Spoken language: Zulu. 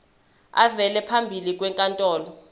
avele phambi kwenkantolo